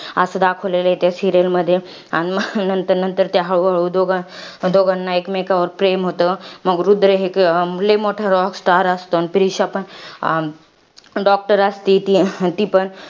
असं दाखवलेलं आहे त्या serial मध्ये. आणि मंग, नंतर नंतर हळूहळू त्या दोघां दोघांना, एकमेकांवर प्रेम होतं. मग रुद्र हे एक लई मोठा rockstar असतो. अन प्रीशा पण doctor असती ती पण.